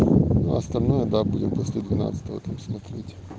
остальное да будем после двенадцатого там смотреть